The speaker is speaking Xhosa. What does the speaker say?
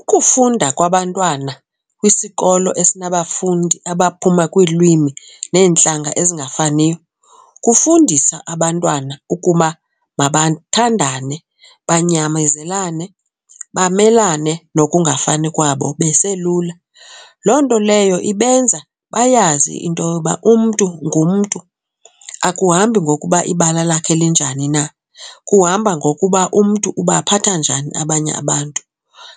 Ukufunda kwabantwana kwisikolo esinabafundi abaphuma kwiilwimi neentlanga ezingafaniyo kufundisa abantwana ukuba mabathandane, banyamezelane bamelane nokungafani kwabo beselula. Loo nto leyo ibenza bayazi into yoba umntu ngumntu, akuhambi ngokuba ibala lakhe linjani na kuhamba ngokuba umntu ubaphatha njani abanye abantu.